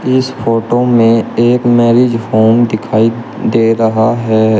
इस फोटो में एक मैरिज होम दिखाई दे रहा है।